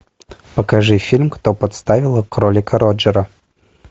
покажи фильм кто подставил кролика роджера